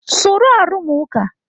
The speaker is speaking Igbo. Soro arụmụka!